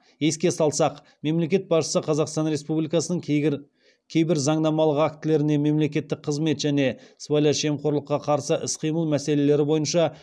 еске салсақ мемлекет басшысы қазақстан республикасының кейбір заңнамалық актілеріне мемлекеттік қызмет және сыбайлас жемқорлыққа қарсы іс қимыл мәселелері бойынша